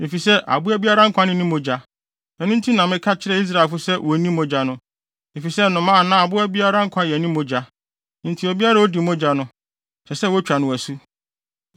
efisɛ aboa biara nkwa ne ne mogya. Ɛno nti na meka kyerɛɛ Israelfo se wonnni mogya no, efisɛ nnomaa anaa aboa biara nkwa yɛ ne mogya. Enti obiara a odi mogya no, ɛsɛ sɛ wotwa no asu.